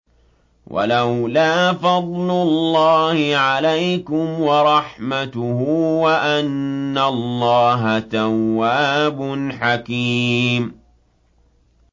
وَلَوْلَا فَضْلُ اللَّهِ عَلَيْكُمْ وَرَحْمَتُهُ وَأَنَّ اللَّهَ تَوَّابٌ حَكِيمٌ